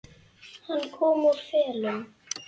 Hann kom úr felum.